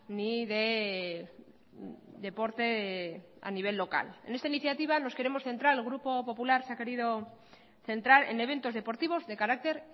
ni de deporte a nivel local en esta iniciativa nos queremos centrar el grupo popular se ha querido centrar en eventos deportivos de carácter